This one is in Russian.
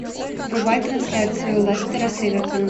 врубай трансляцию лестера с эвертоном